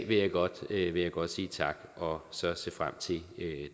vil jeg godt jeg godt sige tak og så se frem til